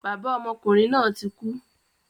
Bàbá ọmọkùnrin náà tí kú